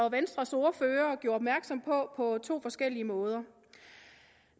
og venstres ordførere gjorde opmærksom på på to forskellige måder